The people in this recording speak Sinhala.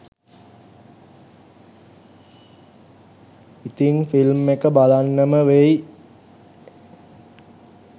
ඉතින් ෆිල්ම් එක බලන්නම වෙයි.